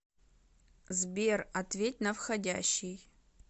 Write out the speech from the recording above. сбер ответь на входящий